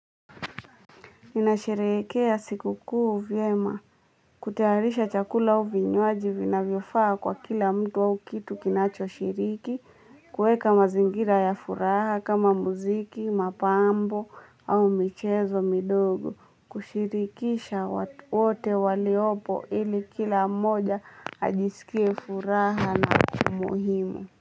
Ninasherehekea siku kuu vyema, kutayarisha chakula au vinywaji vinavyofaa kwa kila mtu, au kitu kinachoshiriki kuweka mazingira ya furaha kama muziki, mapambo au michezo midogo, kushirikisha watu wote waliopo, ili kila mmoja ajisikie furaha na muhimu.